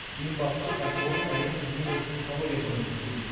ең бастысы кәсіпорын әлемнің ең озық технологиясымен жұмыс істейді